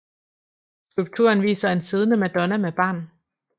Skulpturen viser en siddende madonna med barn